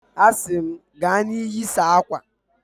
A sị m, gaa na iyi, saa akwa!